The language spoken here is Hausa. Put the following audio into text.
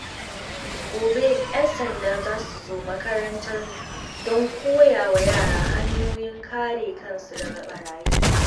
Gobe, ƴan sanda za su zo makarantar mu don koya wa yara hanyoyin kare kansu daga barayi.